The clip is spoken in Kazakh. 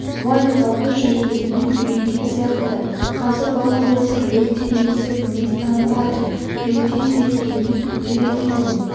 уайымдауды жөргегінен үйренген сияқты қазір бала болса лезде ересек мінез танытады ерте есейткен күндер еді ол